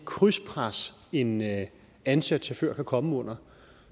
krydspres en ansat chauffør kan komme under